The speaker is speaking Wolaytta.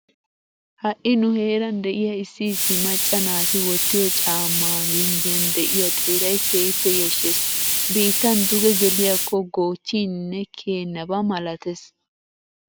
Ha'i nu heeran de'iya Issi issi macca naati wottiyo caammaa ginddiyan de'iya xeeray keehippe yashshees. Biittan duge geliyakko goochchiininne kiyennaba malatees.